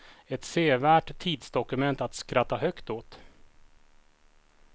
Ett sevärt tidsdokument att skratta högt åt.